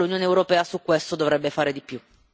Credo che l'Unione europea su questo dovrebbe fare di più.